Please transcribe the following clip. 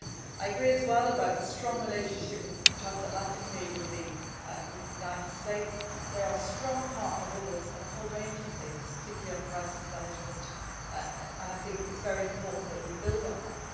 that we do. I agree as well about the strong relationship transatlantically with the United States. They are a strong partner with us on a whole range of things, particularly on crisis management, and it is very important that we